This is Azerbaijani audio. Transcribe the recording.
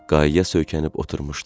Qayaya söykənib oturmuşdu.